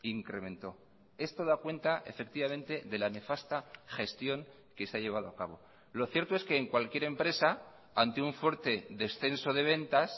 incrementó esto da cuenta efectivamente de la nefasta gestión que se ha llevado a cabo lo cierto es que en cualquier empresa ante un fuerte descenso de ventas